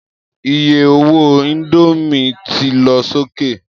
Iye owó indomie ti lọ sókè